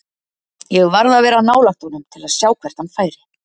Ég varð að vera nálægt honum til að sjá hvert hann færi.